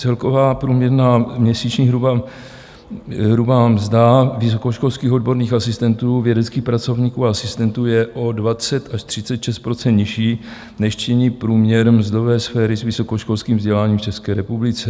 Celková průměrná měsíční hrubá mzda vysokoškolských odborných asistentů, vědeckých pracovníků a asistentů je o 20 až 36 % nižší, než činí průměr mzdové sféry s vysokoškolským vzděláním v České republice.